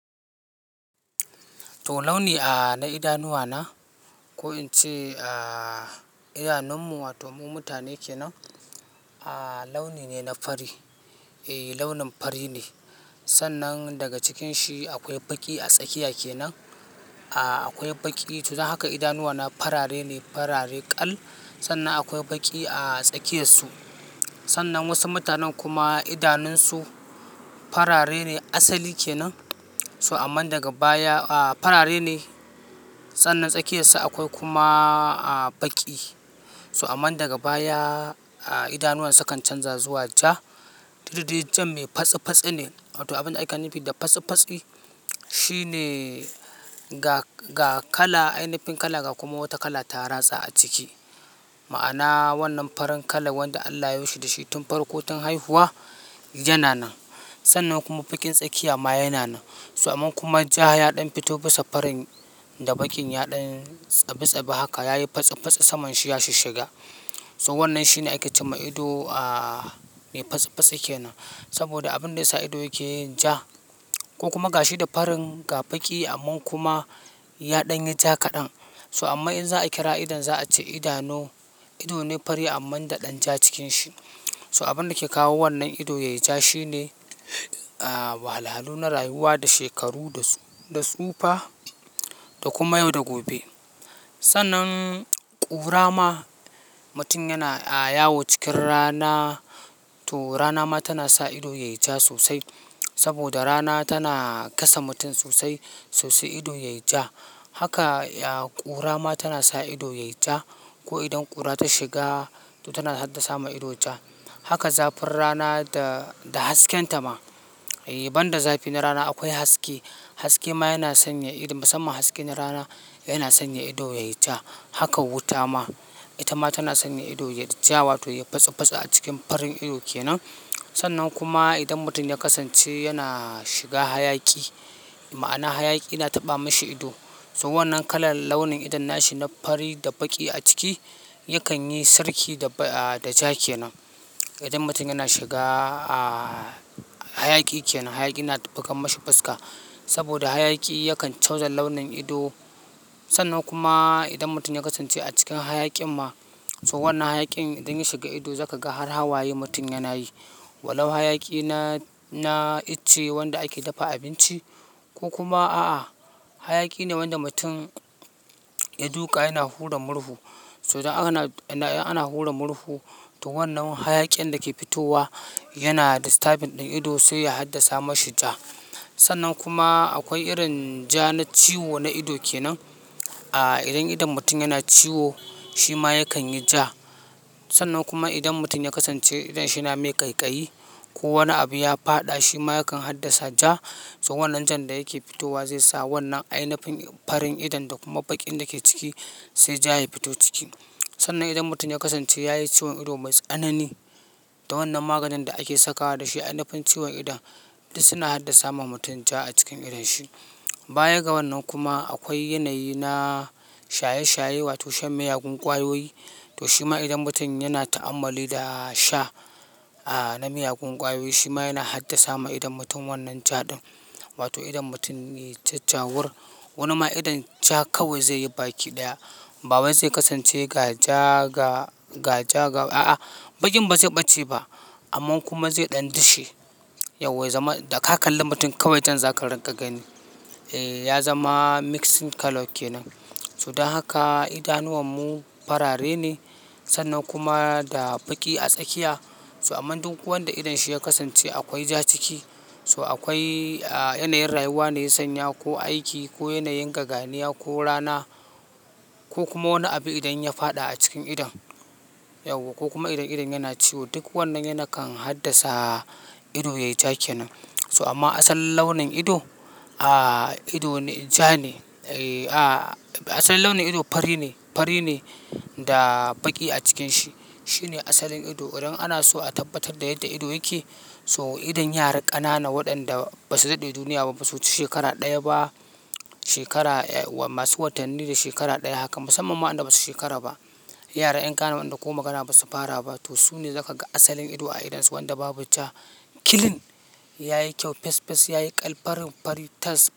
To launi a na idanuwa na ko in ce a idanun mu wato mu mutane kenan, a launi ne na fari. Eh launin fari ne. Sannan daga cikin shi akwai baƙi a tsakiya kenan. A akwai baƙi. To dsn haka idanuwana farare ne, farare ƙal. Sannan akwai baƙi a tsakiyar su. Sannan wasu mutanen kuma idanun su farare ne asali kenan. So aman daga baya a farare ne sannan tsakiyar su akwai kuma a baƙi. So aman daga baya a idanuwan su su kan canza zuwa ja. Dudda dai jan me fatsi-fatsi ne wato abun da aka nufi da fatsi-fatsi, shi ne ga, ga kala, ainafin kala ga kuma wata kala ta rasa a ciki. Ma'ana wannan farin kala wanda Allah yayo shi da shi tun farko tun haihuwa, yana nan. Sannan kuma baƙin tsakiya ma yana nan. So aman kuma ja ya ɗan fito bisa farin da baƙin ya ɗan tsabi-tsabi haka yayi fatsi-fatsi saman shi ya shi shiga. So wannan shi ne ake ce ma ido a me fatsi-fatsi kenan. Saboda abin da ya sa ido yake yin ja ko kuma ga shi da farin ga baƙi amma kuma ya ɗan yi ja kaɗan. So amma in za'a kira idon za'a ce idanu ido ne fari amma da ɗan ja cikin shi. So abin da ke kawo wannan ido yayi ja shi ne a wahalalu na rayuwa, da shekaru, da, da tsufa da kuma yau da gobe. Sannan ƙura ma mutum yana a yawo cikin rana to rana ma tana sa ido yayi ja sosai. Saboda rana tana gasa mutum sosai, so sai ido yayi ja. Haka a ƙura ma tana sa ido yayi ja ko idan ƙura ta shiga to tana hadda sama ido ja. Haka zafin rana da, da hasken ta ma. Eh ban da zafi na rana akwai haske. Haske ma yana sanya ido musamman haske na rana yana sanya ido yayi ja. Haka wuta ma ita ma tana sanya ido yayi ja wato yayi fatsi-fatsi a cikin farin ido kenan. Sannan kuma idan mutum ya kasance yana shiga hayaki ma'ana hayaki yana taɓa mashi ido. To wannan kalan launin idon nashi na fari da baƙi a ciki yakan yi sarki da ba a da ja kenan. Idan mutum yana shiga a hayaki kenan, hayaki yana tafiya kan mashi fuska. Saboda hayaki yakan canza launin ido. Sannan kuma idan mutum ya kasance a cikin hayakin ma so wannan hayakin idan ya shiga ido za ka ga har hawaye mutum yana yi. Walau hayaki na, na ice wanda ake dafa abinci ko kuma a'a hayaki ne wanda mutum ya duƙa yana hura murhu. To idan ana, idan ana hura murhu to wannan hayaƙin da ke fitowa yana distabing ɗin ido sai ya haddasa mashi ja. Sannan kuma akwai irin ja na ciwo na ido kenan. A idan, idan mutum yana ciwo shi ma yakan yi ja. Sannan kuma idan mutum ya kasance idan shi na mai ƙaiƙayi ko wani abu ya faɗa shi ma yakan haddasa ja. So wannan jan da yake fitowa zai sa wannan ainafin farin idon da kuma baƙin da ke ciki sai ja ya fito ciki. Sannan idan mutum ya kasance yayi ciwon ido mai tsanani da wannan maganin da ake sakawa da shi ainafin ciwon idon duk suna haddasa ma mutum ja a cikin idon shi. Baya ga wannan kuma akwai yanayi na shaye-shaye wato shan miyagun ƙwayoyi. To shi ma idan mutum yana ta'ammali da sha a na miyagun ƙwayoyi shi ma yana haddasa ma idon mutum wannan ja ɗin. Wato idon mutum yai jajawur. Wani ma idan ja kawai zai yi baki ɗaya. Ba wai zai kasance ga ja ga, ga ja ga a'a baƙin ba zai ɓace ba. Amman kuma zai ɗan dishe. Yauwa ya zama da ka kalla mutum kawai jan zaka gani. Eh ya zama mixing colour kenan. So don haka idanuwan mu farare ne sannan kuma da baƙi a tsakiya. So aman duk wanda idon shi ya kasance akwai ja ciki so akwai a yanayin rayuwa ne ya sanya ko aiki ko yanayin gaganiya ko rana ko kuma wani abu idan ya faɗa a cikin idon. Yauwa ko kuma idan idon yana ciwo duk wannan yana kan haddasa ido yayi ja kenan. So amma asalin launin ido a ido ne ja ne. A asalin launin ido fari ne, fari ne da baƙi a cikin shi. Shi ne asalin ido. Idan ana so a tabbatar da yadda ido yake so idan yara ƙanana waɗanda ba su daɗe duniya ba, ba suhuci shekara ɗaya ba shekara e masu watanni da shekara ɗaya haka musamman ma waɗanda ba su shekara ba. Yara 'yan ƙananan da ko magana ba su fara ba to su ne za ka ga asalin ido a idonsu wanda babu ja. Kilin ya yi kyau, fes-fes, ya yi ƙal, farin-fari tas.